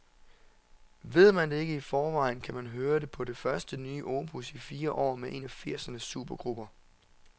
Ved man ikke det i forvejen, så kan man høre det på det første nye opus i fire år med en af firsernes supergrupper.